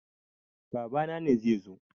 Babana ne zai zo.